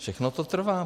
Všechno to trvá.